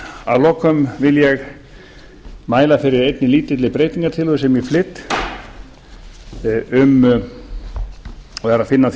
að lokum vil ég mæla fyrir einni lítilli breytingartillögu sem ég flyt og er að finna á